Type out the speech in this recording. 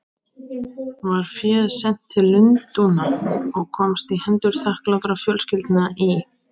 Var féð sent til Lundúna og komst í hendur þakklátra fjölskyldna í